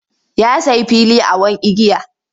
Ya sayi fili awon igiya.